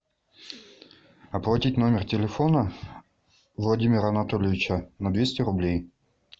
оплатить номер телефона владимира анатольевича на двести рублей